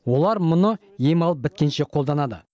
олар мұны ем алып біткенше қолданады